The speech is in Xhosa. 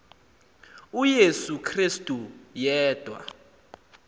uyesu krestu yedwa